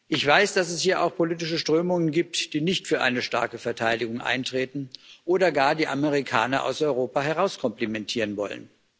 Ich weiß, dass es hier auch politische Strömungen gibt, die nicht für eine starke Verteidigung eintreten oder gar die Amerikaner aus Europa herauskomplimentieren wollen.